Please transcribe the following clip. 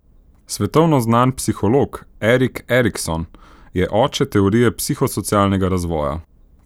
Svetovno znan psiholog Erik Erikson je oče teorije psihosocialnega razvoja.